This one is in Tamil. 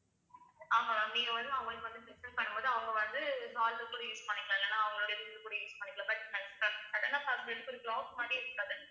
ஆமா ma'am நீங்க வந்து அவங்களுக்கு வந்து system பண்ணும் போது அவங்க வந்து use பண்ணிக்கலாம் இல்லைன்னா அவங்களுடைய use பண்ணிக்கலாம் but sudden ஆ பாக்கறதுக்கு ஒரு clock மாரியே இருக்காது